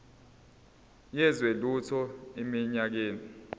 yezwe lethu eminyakeni